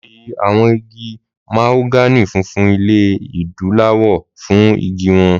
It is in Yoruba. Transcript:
Mọyì àwọn igi mahogany funfun ilẹ̀ Adúláwọ̀ fún igi wọn.